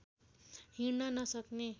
हिँड्न नसक्ने